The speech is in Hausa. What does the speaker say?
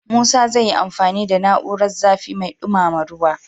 Musa zai yi amfani da na'urar zafi mai dumama ruwa.